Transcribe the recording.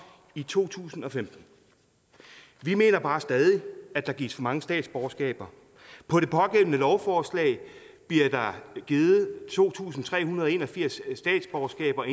i to tusind og femten vi mener bare stadig at der gives for mange statsborgerskaber på det pågældende lovforslag bliver der givet to tusind tre hundrede og en og firs statsborgerskaber